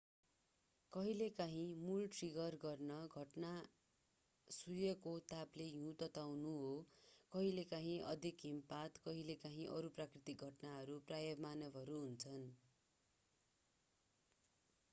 कहिलेकाँही मूल ट्रिगर गर्ने घटना सूर्यको तापले हिउँलाई तताउनु हो कहिलेकाहीँ अधिक हिमपात कहिलेकाहीँ अरू प्राकृतिक घटनाहरू प्रायः मानवहरू हुन्